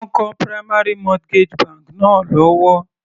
Wọ́n ń kọ́ primary mortgage bank náà lọ́wọ́.